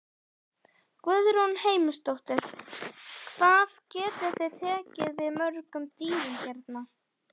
Guðrún Heimisdóttir: Hvað getið þið tekið við mörgum dýrum hérna?